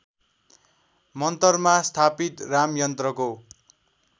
मन्तरमा स्थापित रामयन्त्रको